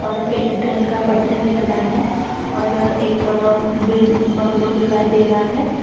Train का पटरी दिख रहा है और एक बिग बंगलो दिखाई दे रहा है।